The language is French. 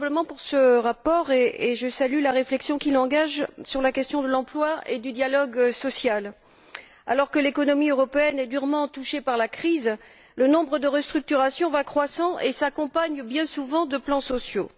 Monsieur le Président, j'ai voté pour ce rapport et je salue la réflexion qu'il engage sur la question de l'emploi et du dialogue social. Alors que l'économie européenne est durement touchée par la crise, le nombre de restructurations va croissant et celles ci s'accompagnent, bien souvent, de plans sociaux.